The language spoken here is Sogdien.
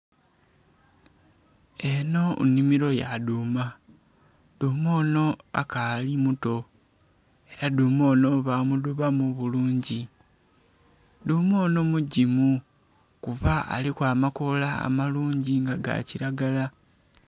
Enho nnhimiro yadhuma, dhuma onho akali muto era dhuma onho bamudhubamu bulungi, dhuma onho mugimu kuba aliku amakola amalungi nga gakiragala.